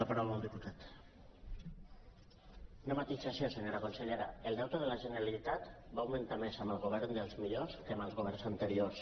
una matisació senyora consellera el deute de la generalitat va augmentar més amb el govern dels millors que amb els governs anteriors